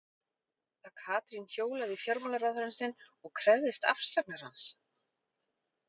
Að Katrín hjólaði í fjármálaráðherrann sinn og krefðist afsagnar hans?